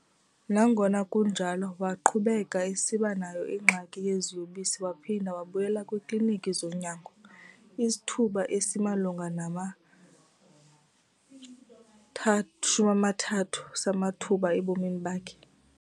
Nangona kunjalo, waqhubeka esiba nayo ingxaki yeziyobisi waphinda wabuyela kwiiKliniki zonyango. isithuba esimalunga nama-30 samathuba ebomini bakhe.